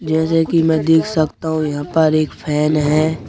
जैसे की मैं देख सकता हूं यहां पर एक फैन हैं।